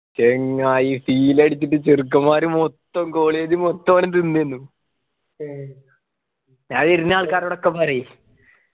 ചങ്ങായി seal അടിച്ചിട്ട് ചെറുക്കന്മാര് മൊത്തം college മൊത്തം അവിടെ തിന്നുവായിരുന്നു ഞൻ വരുന്ന ആൾക്കാരോടൊക്കെ പറയും